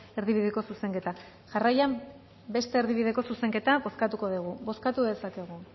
erdibideko zuzenketa jarraian beste erdibideko zuzenketa bozkatuko dugu bozkatu dezakegu